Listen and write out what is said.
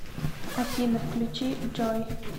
афина включи джой